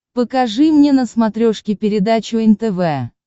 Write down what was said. покажи мне на смотрешке передачу нтв